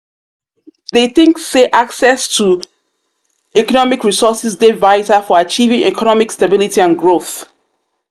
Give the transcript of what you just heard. i dey think say access to economic resources dey vital for achieving economic stability and growth.